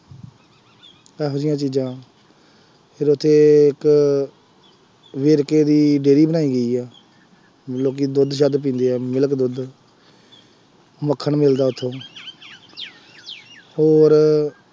ਇਹੋ ਜਿਹੀਆਂ ਚੀਜ਼ਾਂ ਫੇਰ ਉੱਥੇ ਇੱਕ ਵੇਰਕੇ ਦੀ ਡੇਅਰੀ ਬਣਾਈ ਹੋਈ ਆ, ਲੋਕੀ ਦੁੱਧ ਸੱਧ ਪੀਂਦੇ ਆ, milk ਦੁੱਧ, ਮੱਖਣ ਮਿਲਦਾ ਉੱਥੋਂ ਹੋਰ